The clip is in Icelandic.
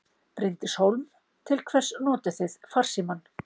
Bryndís Hólm: Til hvers notið þið farsímann?